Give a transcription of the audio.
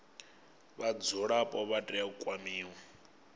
vhadzulapo vha tea u kwamiwa